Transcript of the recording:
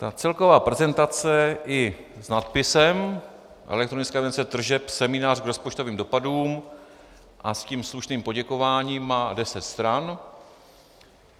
Ta celková prezentace i s nadpisem elektronické evidence tržeb, seminář k rozpočtovým dopadům a s tím slušným poděkováním, má deset stran.